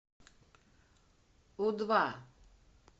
у два